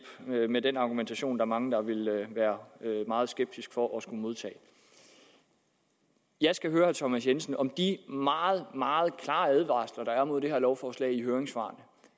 med den argumentation er mange der ville være meget skeptiske for at skulle modtage jeg skal høre herre thomas jensen om de meget meget klare advarsler der er imod det her lovforslag i høringssvarene